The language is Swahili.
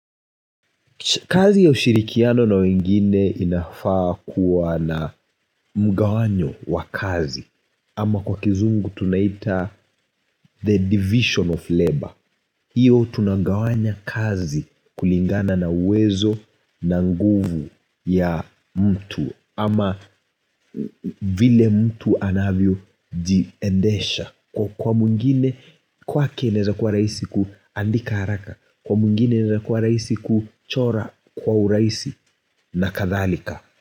Kazi ya ushirikiano na wengine inafaa kuwa na mgawanyo wa kazi ama kwa kizungu tunaita the division of labor. Hio tunangawanya kazi kulingana na uwezo na nguvu ya mtu ama vile mtu anavyo jiendesha Kwa mwingine kwake inaweza kuwa rahisi kuandika haraka Kwa mwingine inaweza kuwa rahisi kuchora kwa urahisi na kadhalika.